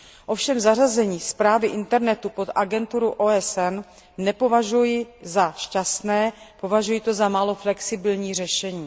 Ovšem zařazení správy internetu pod agenturu OSN nepovažuji za šťastné, považuji to za málo flexibilní řešení.